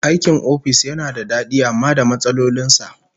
Aikin ofis yana da dadi amma da matsalolin sa